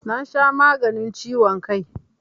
Na sha maganin ciwon kai